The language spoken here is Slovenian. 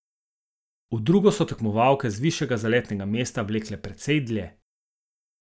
V drugo so tekmovalke z višjega zaletnega mesta vlekle precej dlje.